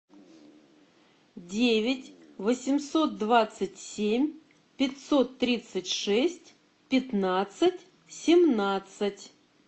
девять восемьсот двадцать семь пятьсот тридцать шесть пятнадцать семнадцать